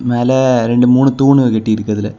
மேல ரெண்டு மூணு தூன்னு கட்டிற்கு அதுல.